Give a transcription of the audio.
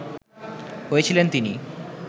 হয়েছিলেন তিনি